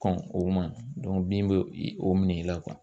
Kɔn o ma bin bɛ o minɛn i la.